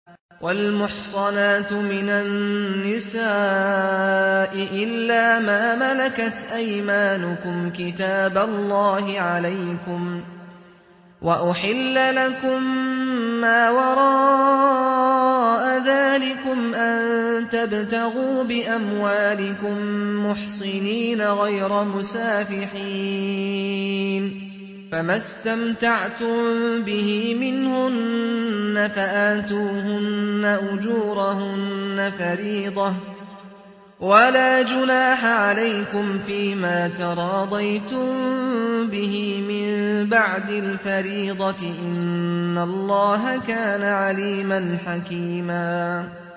۞ وَالْمُحْصَنَاتُ مِنَ النِّسَاءِ إِلَّا مَا مَلَكَتْ أَيْمَانُكُمْ ۖ كِتَابَ اللَّهِ عَلَيْكُمْ ۚ وَأُحِلَّ لَكُم مَّا وَرَاءَ ذَٰلِكُمْ أَن تَبْتَغُوا بِأَمْوَالِكُم مُّحْصِنِينَ غَيْرَ مُسَافِحِينَ ۚ فَمَا اسْتَمْتَعْتُم بِهِ مِنْهُنَّ فَآتُوهُنَّ أُجُورَهُنَّ فَرِيضَةً ۚ وَلَا جُنَاحَ عَلَيْكُمْ فِيمَا تَرَاضَيْتُم بِهِ مِن بَعْدِ الْفَرِيضَةِ ۚ إِنَّ اللَّهَ كَانَ عَلِيمًا حَكِيمًا